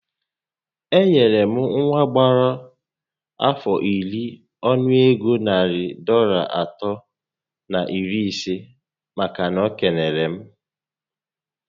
Enyere m nwa gbàrà afọ iri ọnụ ego narị Dọlas atọ na iri isé màkà na o kelere m